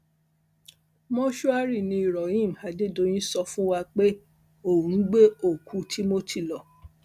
mòṣùárì ni rohim adédọyìn sọ fún wa pé òun ń gbé òkú timothy lọ